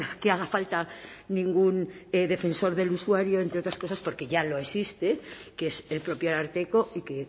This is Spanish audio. que haga falta ningún defensor del usuario entre otras cosas porque ya lo existe que es el propio ararteko y que